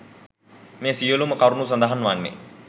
මේ සියලුම කරුණු සඳහන් වන්නේ